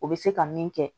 O bɛ se ka min kɛ